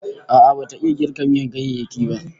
A'a bata iya girka miyan ganyayyaki